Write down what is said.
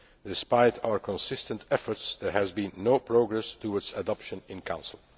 Despite our consistent efforts, there has been no progress towards adoption in Council.